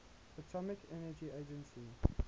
atomic energy agency